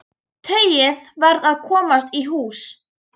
Tauið varð að komast í hús.